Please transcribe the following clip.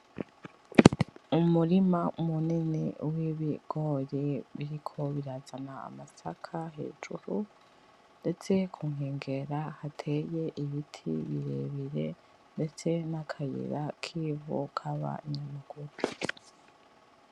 Umurima munini wibigori biriko birazana amasaka hejuru, ndetse kunkengera hateye ibiti birebire ndetse nakayira kivu kabanyamaguru